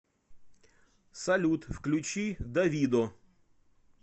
салют включи давидо